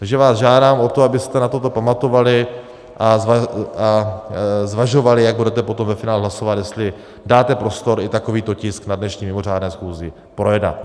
Takže vás žádám o to, abyste na toto pamatovali a zvažovali, jak budete potom ve finále hlasovat, jestli dáte prostor i takovýto tisk na dnešní mimořádné schůzi projednat.